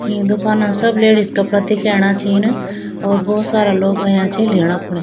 इं दुकान ब सब लेडीज कपड़ा दिखेणा छिंन और भोत सारा लोग अयां छिन लीना खुणी।